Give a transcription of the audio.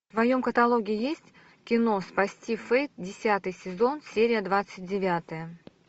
в твоем каталоге есть кино спасти фэйт десятый сезон серия двадцать девятая